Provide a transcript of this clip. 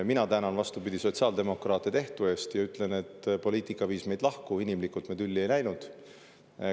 Mina tänan, vastupidi, sotsiaaldemokraate tehtu eest ja ütlen, et poliitika viis meid lahku, inimlikult me tülli ei läinud.